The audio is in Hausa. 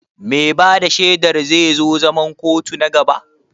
Mai ba da shaidar zai zo zaman kotu na gaba?